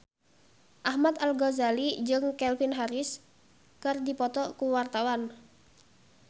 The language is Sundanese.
Ahmad Al-Ghazali jeung Calvin Harris keur dipoto ku wartawan